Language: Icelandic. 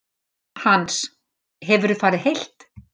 Hans: Hefurðu farið heilt?